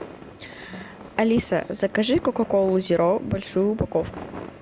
алиса закажи кока колу зеро большую упаковку